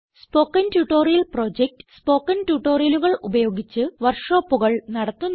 spoken Tutorial project spoken ട്യൂട്ടോറിയലുകൾ ഉപയോഗിച്ച് വർക്ക് ഷോപ്പുകൾ നടത്തുന്നു